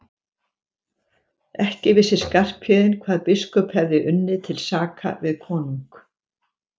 Ekki vissi Skarphéðinn hvað biskup hefði unnið til saka við konung.